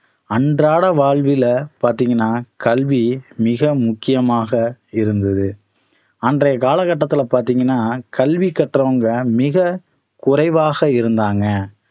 அன்றாட வாழ்வில பாத்தீங்கன்னா கல்வி மிக முக்கியமாக இருந்தது அன்றைய காலகட்டத்தில பார்த்தீங்கன்னா கல்வி கற்றவங்க மிக குறைவாக இருந்தாங்க